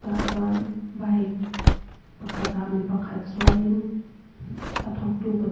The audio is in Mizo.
tah chuan bike pakhat ah mipa khat chuang in a thawktu pa--